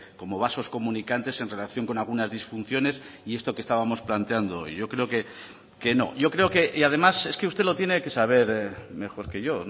como vasos comunicantes en relación con algunas disfunciones y esto que estábamos planteando y yo creo que no yo creo que y además es que usted lo tiene que saber mejor que yo